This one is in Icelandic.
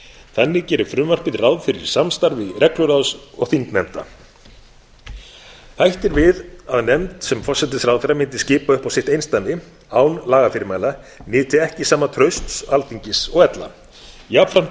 þannig gerir frumvarpið ráð fyrir samstarfi regluráðs og þingnefnda hætt er við að nefnd sem forsætisráðherra mundi skipa upp á sitt einsdæmi án lagafyrirmæla nyti ekki sama trausts alþingis og ella jafnframt